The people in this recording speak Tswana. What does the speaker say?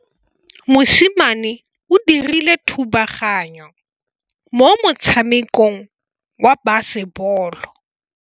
Mosimane o dirile thubaganyô mo motshamekong wa basebôlô.